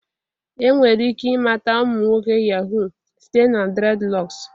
Enwere ike ịmata ụmụ nwoke yahoo site na dreadlocks